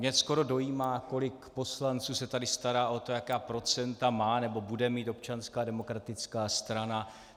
Mě skoro dojímá, kolik poslanců se tady stará o to, jaká procenta má nebo bude mít Občanská demokratická strana.